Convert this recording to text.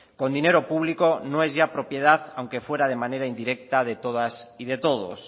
con dinero público no es ya propiedad aunque fuera de manera indirecta de todas y de todos